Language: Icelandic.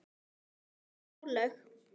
Jafnvel álög.